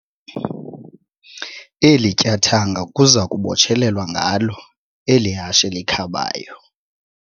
Eli tyathanga kuza kubotshelelwa ngalo eli hashe likhabayo.